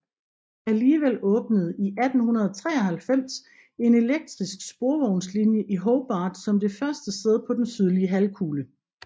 Alligevel åbnede i 1893 en elektrisk sporvognslinje i Hobart som det første sted på den sydlige halvkugle